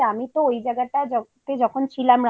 এই home stay টা recommend করেছিলাম তার কারণ হচ্ছে আমি তো ওই